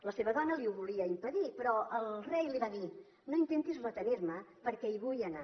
la seva dona li ho volia impedir però el rei li va dir no intentis retenirme perquè hi vull anar